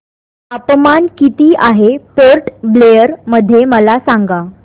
तापमान किती आहे पोर्ट ब्लेअर मध्ये मला सांगा